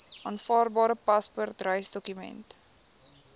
aanvaarbare paspoort reisdokument